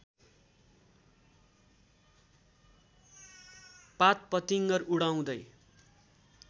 पातपतिङ्गर उडाउँदै